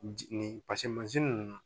Nin ji nin paseke nunnu